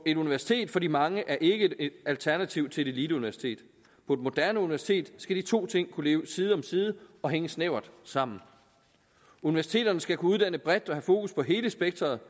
et universitet for de mange er ikke et alternativ til et eliteuniversitet på et moderne universitet skal de to ting kunne leve side om side og hænge snævert sammen universiteterne skal kunne uddanne bredt og have fokus på hele spektret